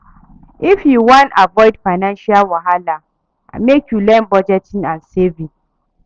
If you wan avoid financial wahala, lmake you learn budgeting and saving.